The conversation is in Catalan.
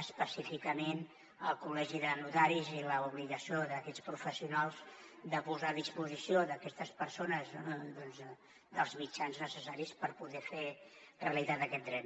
específicament el col·legi de notaris i l’obligació d’aquests professionals de posar a disposició d’aquestes persones els mitjans necessaris per poder fer realitat aquest dret